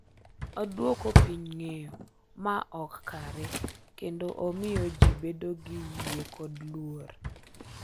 Odwoko piny ng’eyo ma ok kare kendo omiyo ji bedo gi yie kod luor.